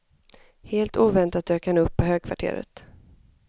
Helt oväntat dök han upp på högkvarteret.